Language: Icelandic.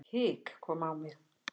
Hik kom á mig.